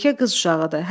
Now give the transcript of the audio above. Yekə qız uşağıdır.